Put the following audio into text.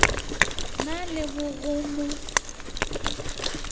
na le ba go mo